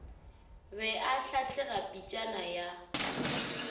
be a hlatlega pitšana ya